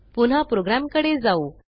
पुन्हा प्रोग्रॅमकडे जाऊ